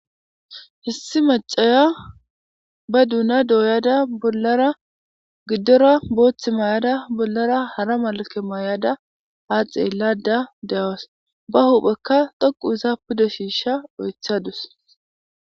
Issi maacaya be duna doyada bollara gidora boththu mayada bollara hara malikke mayada haa xellada de'awus baa huphphekka dhoqqu oththa pude shishsha oyiththadus .